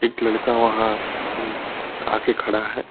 एक लड़का वहां अ आ के खड़ा है।